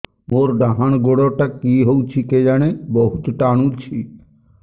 ମୋର୍ ଡାହାଣ୍ ଗୋଡ଼ଟା କି ହଉଚି କେଜାଣେ ବହୁତ୍ ଟାଣୁଛି